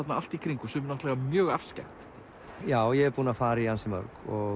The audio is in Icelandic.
allt í kring og sum náttúrulega mjög afskekkt já ég er búinn að fara í ansi mörg og